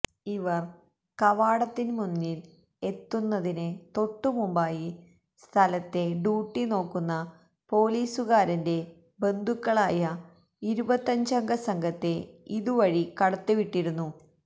ഇവര് കവാടത്തിന് മുന്നില് എത്തുന്നതിന് തൊട്ടുമമ്പായി സ്ഥലത്തെ ഡ്യൂട്ടിനോക്കുന്ന പോലീസുകാരന്റെ ബന്ധുക്കളായ ഇരുപത്തഞ്ചംഗ സംഘത്തെ ഇതുവഴി കടത്തിവിട്ടിരുന്നു